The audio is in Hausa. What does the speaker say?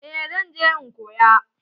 Eh zan je in koya.